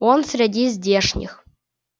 он среди здешних